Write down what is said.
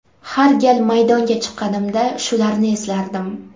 Har gal maydonga chiqqanimda shularni eslardim.